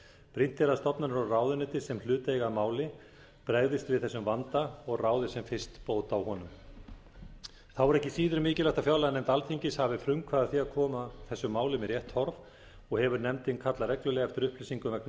brýnt er að stofnanir og ráðuneyti sem hlut eiga að máli bregðist við þessum vanda og ráði sem fyrst bót á honum þá er ekki síður mikilvægt að fjárlaganefnd alþingis hafi frumkvæði að því að koma þessum málum í rétt horf og hefur nefndin kallað reglulega eftir upplýsingum vegna